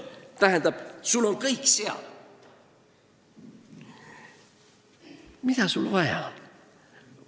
Tähendab, sul on kõik olemas, mida sul vaja on.